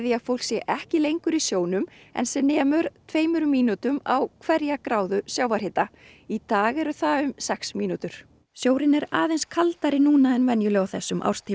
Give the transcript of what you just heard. að fólk sé ekki lengur í sjónum en sem nemur tveimur mínútum á hverja gráðu sjávarhita í dag eru það sex mínútur sjórinn er aðeins kaldari núna en venjulega á þessum árstíma